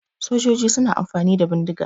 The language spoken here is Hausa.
Sojoji suna amfani da bindiga.